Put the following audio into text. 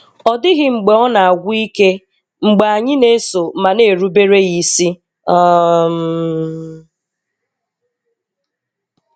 Ọ dịghị mgbe ọ na-agwụ ike mgbe anyị na-eso ma na-erubere Ya isi! um